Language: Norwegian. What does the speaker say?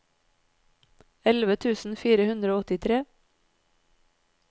elleve tusen fire hundre og åttitre